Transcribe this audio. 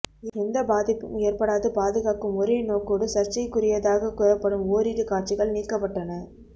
எந்தப் பாதிப்பும் ஏற்படாது பாதுகாக்கும் ஒரே நோக்கோடு சர்ச்சைக்குரியதாகக் கூறப்படும் ஓரிரு காட்சிகள் நீக்கப்பட்டன